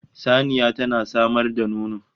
Saniya tana samar da nono